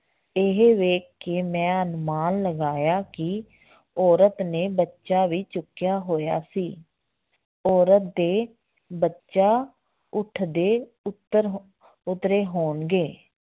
ਇਹ ਵੇਖ ਕੇ ਮੈਂ ਅਨੁਮਾਨ ਲਗਾਇਆ ਕਿ ਔਰਤ ਨੇ ਬੱਚਾ ਵੀ ਚੁੱਕਿਆ ਹੋਇਆ ਸੀ ਔਰਤ ਦੇ ਬੱਚਾ ਊਠ ਦੇ ਉਤਰ ਹੋ ਉਤਰੇ ਹੋਣਗੇ